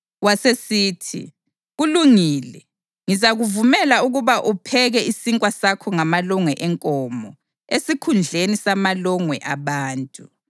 Wasesithi, “Kulungile. Ngizakuvumela ukuba upheke isinkwa sakho ngamalongwe enkomo esikhundleni samalongwe abantu.”